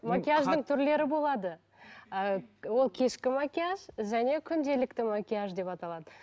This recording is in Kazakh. макияждың түрлері болады ы ол кешкі макияж және күнделікті макияж деп аталады